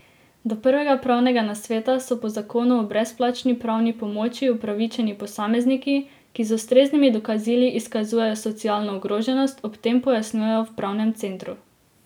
Do prvega pravnega nasveta so po zakonu o brezplačni pravni pomoči upravičeni posamezniki, ki z ustreznimi dokazili izkazujejo socialno ogroženost, ob tem pojasnjujejo v pravnem centru.